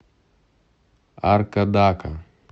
аркадака